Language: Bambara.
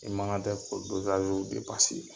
I man ka tɛ k'o .